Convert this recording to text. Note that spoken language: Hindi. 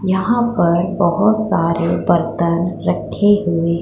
यहां पर बहोत सारे बर्तन रखे हुए--